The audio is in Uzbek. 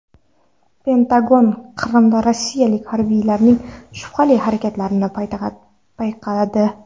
Pentagon Qrimda rossiyalik harbiylarning shubhali harakatlanishini payqadi.